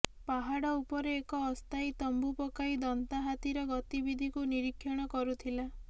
ପାହାଡ ଉପରେ ଏକ ଅସ୍ଥାୟୀ ତମ୍ବୁ ପକାଇ ଦନ୍ତାହାତୀର ଗତିବିଧିକୁ ନିରୀକ୍ଷଣ କରୁଥିଲା